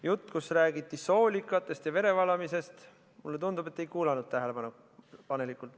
Juttu, kus räägiti soolikatest ja verevalamisest, mulle tundub, te ei kuulanud tähelepanelikult.